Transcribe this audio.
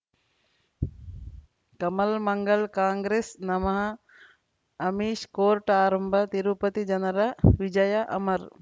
ಕಮಲ್ ಮಂಗಳ್ ಕಾಂಗ್ರೆಸ್ ನಮಃ ಅಮಿಷ್ ಕೋರ್ಟ್ ಆರಂಭ ತಿರುಪತಿ ಜನರ ವಿಜಯ ಅಮರ್